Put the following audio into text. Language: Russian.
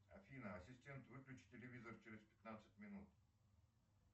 афина ассистент выключи телевизор через пятнадцать минут